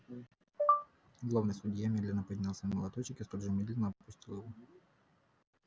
главный судья медленно поднял свой молоточек и столь же медленно опустил его